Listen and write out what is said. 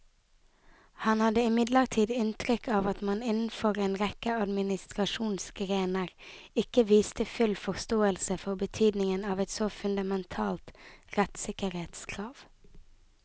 Han hadde imidlertid inntrykk av at man innenfor en rekke administrasjonsgrener ikke viste full forståelse for betydningen av et så fundamentalt rettssikkerhetskrav.